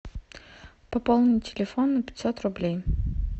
пополнить телефон на пятьсот рублей